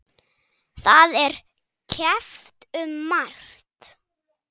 Það er keppt um margt.